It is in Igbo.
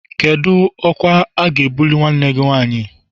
Kedu ọkwa a ga-ebuli nwanne gị nwanyị?